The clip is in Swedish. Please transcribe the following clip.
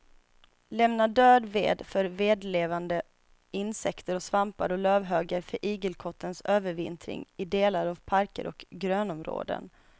Lämna död ved för vedlevande insekter och svampar och lövhögar för igelkottens övervintring i delar av parker och grönområden.